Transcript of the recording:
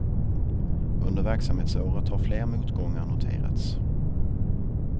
Under verksamhetsåret har fler motgångar noterats.